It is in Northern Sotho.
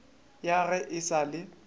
ya ge e sa le